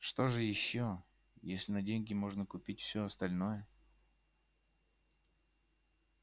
что же ещё если на деньги можно купить все остальное